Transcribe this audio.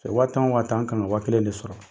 waa tan waa tan n ka kan ka waa kelen de sɔrɔ